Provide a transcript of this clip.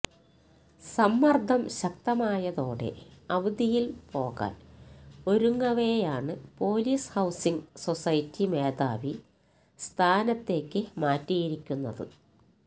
സമ്മര്ദം ശക്തമായതോടെ അവധിയില് പോകാന് ഒരുങ്ങവെയാണ് പൊലീസ് ഹൌസിംഗ് സൊസൈറ്റി മേധാവി സ്ഥാനത്തേക്ക് മാറ്റിയിരിക്കുന്നത്